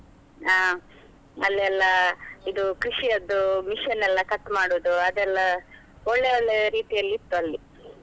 ಹಾ ಅಲ್ಲಿ ಅಲ್ಲ ಇದು ಕೃಷಿಯದ್ದು machine ಎಲ್ಲಾ cut ಮಾಡುದು, ಅದೆಲ್ಲಾ ಒಳ್ಳೆ ಒಳ್ಳೆ ರೀತಿಯಲ್ಲಿ ಇತ್ತು ಅಲ್ಲಿ.